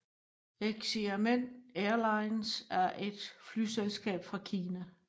Xiamen Airlines er et flyselskab fra Kina